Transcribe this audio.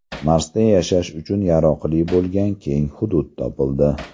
Marsda yashash uchun yaroqli bo‘lgan keng hudud topildi.